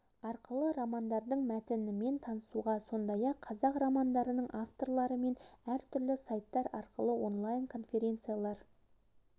арқылы романдардың мәтінімен танысуға сондай-ақ қазіргі қазақ романдарының авторларымен әр түрлі сайттар арқылы онлайн конференциялар